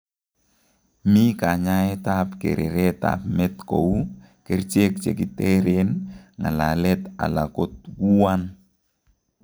Mi kanyaet ab kereret ab met kouu ,kerchek chekitereen, ng'alalet ala kotwuan